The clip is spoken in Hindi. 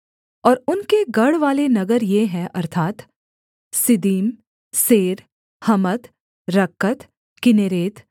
और उनके गढ़वाले नगर ये हैं अर्थात् Ziddim Zer Hammath Rakkath Kinnereth